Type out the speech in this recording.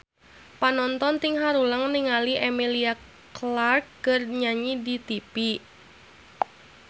Panonton ting haruleng ningali Emilia Clarke keur nyanyi di tipi